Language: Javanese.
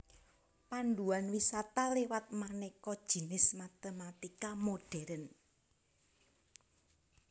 Panduan wisata liwat manéka jinis matématika modhèrn